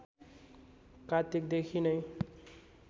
कार्तिक देखि नै